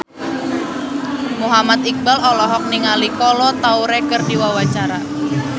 Muhammad Iqbal olohok ningali Kolo Taure keur diwawancara